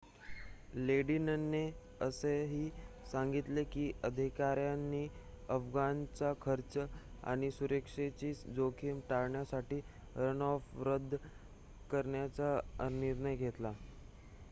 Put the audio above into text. लेडिनने असेही सांगितले की अधिकाऱ्यांनी अफगाणचा खर्च आणि सुरक्षेची जोखीम टाळण्यासाठी रनऑफ रद्द करण्याचा निर्णय घेतला